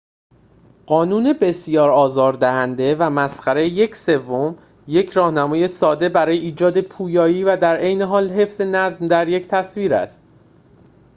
قانون بسیار آزار دهنده و مسخره یک سوم یک راهنمایی ساده برای ایجاد پویایی و در عین حال حفظ نظم در یک تصویر است